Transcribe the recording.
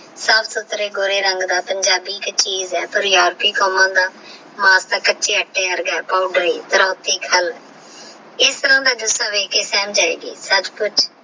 ਸਫ੍ਸੁਥ੍ਰੇ ਗੋਰੇ ਰੰਗ ਦਾ ਪੰਜਾਬੀ ਚ ਏਕ ਚੀਜ਼ ਆਹ ਪਰ ਕਾਮਾ ਦਾ ਕਚਾ ਆਤੇ ਵਰਗਾ ਆਹ ਪੋਵ੍ਦਰ ਵਰਗਾ ਆਹ ਖਾਲ ਇਸ ਰੰਗ ਏਡ ਵੇਖ ਕੇ